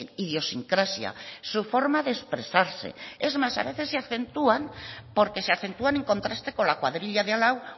idiosincrasia su forma de expresarse es más a veces se acentúan porque se acentúan en contraste con la cuadrilla de al lado